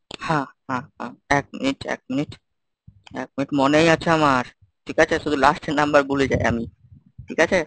হ্যাঁ হ্যাঁ হ্যাঁ এক minute , এক minute , এক minute মনেই আছে আমার, ঠিক আছে শুধু last এ number টা ভুলে যাই আমি, ঠিক আছে?